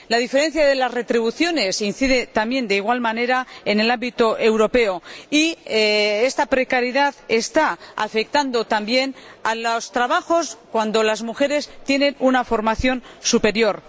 La diferencia en las retribuciones incide también de igual manera en el ámbito europeo y la precariedad está afectando también a los trabajos desempeñados por mujeres que tienen una formación superior.